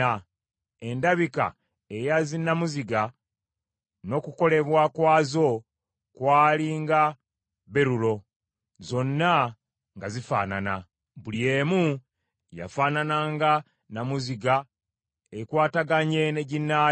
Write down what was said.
Endabika eya zinnamuziga n’okukolebwa kwazo kwali nga berulo, zonna nga zifaanana. Buli emu yafaanana nga nnamuziga ekwataganye ne ginnaayo.